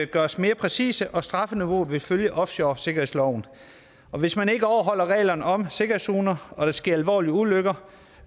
gjort mere præcise og strafniveauet vil følge offshoresikkerhedsloven og hvis man ikke overholder reglerne om sikkerhedszoner og der sker alvorlige ulykker